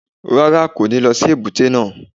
Rárá, kò ní lọ sí èbúté náà.